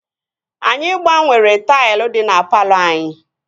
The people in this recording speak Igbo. Anyị gbanwere taịl dị na palọ anyị